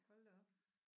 Hold da op